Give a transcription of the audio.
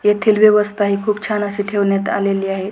येथील व्यवस्था हि खूप छान अशी ठेवण्यात आलेली आहे.